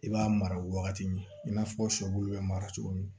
I b'a mara wagati min i n'a fɔ sɔbulu bɛ mara cogo min